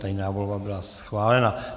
Tajná volba byla schválena.